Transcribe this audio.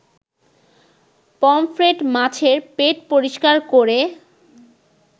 pomfret মাছের পেট পরিষ্কার করে